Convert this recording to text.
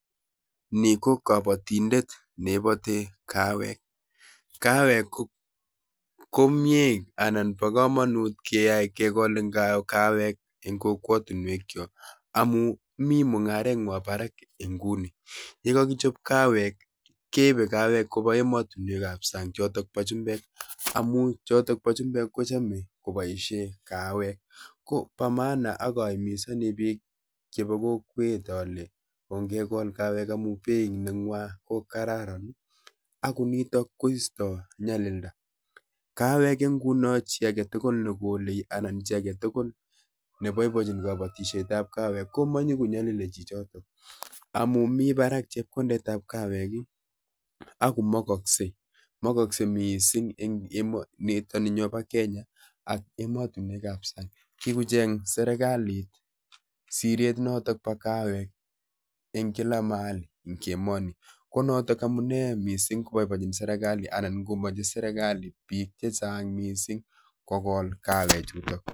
Ni ko kabatindet ne ibati kawek. Kawek ko komiee anan bo komonut keyai kegol kawek eng' kokwotunwek chok, amuu mii mung'aret ngwok barak inguni. Ye kakichop kawek, keibe kawek kobo emotunwekab sang' chotok bo chumbek amu chotok bo chumbek kochame koboisie kawek. Ko bo maana akahimizani biik chebo kokwet ale ongekol kawek amuu beit nengwo ko kararan. Ago nitok koistoi nyalilda. Kawek inguno chii agetugul ne gole anan chi age tugul ne boibochin kabatishietab kawek, ko manyigo nyalili chichotok. Amu mii barak chepkondetab kawek, Ago makaksei, makaksei missing eng' emo nitoninyo bo Kenya ak emotunwekab sang'. Kikocheng' serikalit siret notok bo kawek eng' kila mahali eng' emonii, ko notok amunee missing koboibochin serikali anan komache serikali biik chechang' missing kogol kawek chutok